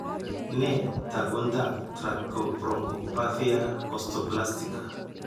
Nee taakuntaab tracheobronchopathia osteoplastica.